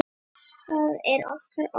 Það er okkar ósk.